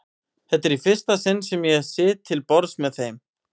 Þetta er í fyrsta sinn sem ég sit til borðs með þeim.